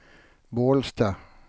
Bålsta